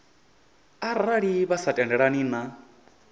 arali vha sa tendelani na